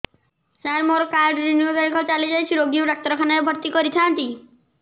ସାର ମୋର card renew ତାରିଖ ଚାଲି ଯାଇଛି ରୋଗୀକୁ ଡାକ୍ତରଖାନା ରେ ଭର୍ତି କରିଥାନ୍ତି